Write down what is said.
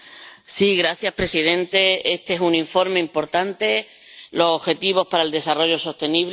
Señor presidente, este es un informe importante —los Objetivos para el Desarrollo Sostenible—.